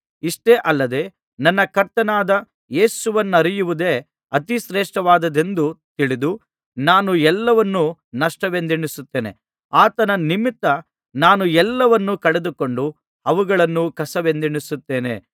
ಇಷ್ಟೇ ಅಲ್ಲದೆ ನನ್ನ ಕರ್ತನಾದ ಕ್ರಿಸ್ತಯೇಸುವನ್ನರಿಯುವುದೇ ಅತಿ ಶ್ರೇಷ್ಠವಾದದ್ದೆಂದು ತಿಳಿದು ನಾನು ಎಲ್ಲವನ್ನು ನಷ್ಟವೆಂದೆಣಿಸುತ್ತೇನೆ ಆತನ ನಿಮಿತ್ತ ನಾನು ಎಲ್ಲವನ್ನೂ ಕಳೆದುಕೊಂಡು ಅವುಗಳನ್ನು ಕಸವೆಂದೆಣಿಸುತ್ತೇನೆ